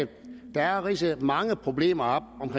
der ridset mange problemer op